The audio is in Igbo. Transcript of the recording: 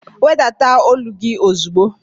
Wedata ólú gị ozigbo!